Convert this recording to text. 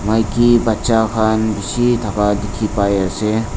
maiki batchaa khan bisi dekhi pai ase.